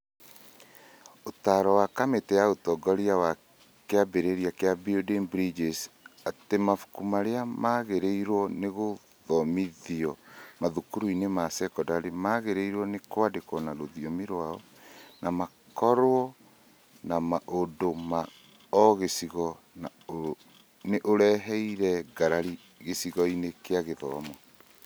Ũtaaro wa kamĩtĩ ya ũtongoria wa kĩambĩrĩria kĩa Building Bridges atĩ mabuku marĩa magĩrĩirwo nĩ gũthomithio mathukuruinĩ ma sekondarĩ magĩrĩirwo nĩ kwandĩkwo na rũthiomi rwao na makorwo na maũndũ ma o gĩcigo nĩ ũreheire ngarari gĩcigo-inĩ kĩa gĩthomo.